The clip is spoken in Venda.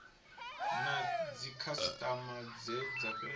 na dzikhasitama dze dza fhedza